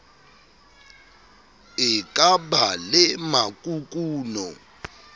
e ka ba le makukuno